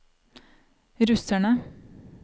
russerne